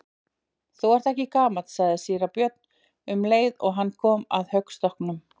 Þú ert ekki gamall, sagði síra Björn um leið og hann kom upp að höggstokknum.